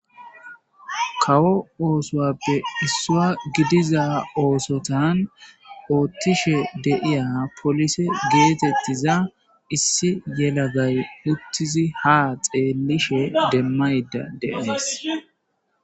Kawo osuwappe isuwa gidiza osotan othishe de'iya polise getetiza issi yelagay utizi ha xelishe demayda de'es.